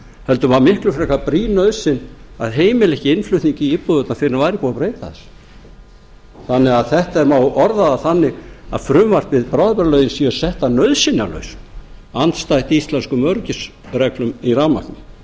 heldur var miklu frekar brýn nauðsyn að heimila ekki innflutning í íbúðirnar fyrr en væri búið að breyta þessu þannig að það má orða það þannig að frumvarpið sé sett að nauðsynjalausu andstætt íslenskum öryggisreglum í rafmagni